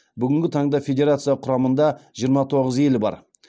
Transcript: бүгінгі таңда федерация құрамында жиырма тоғыз ел бар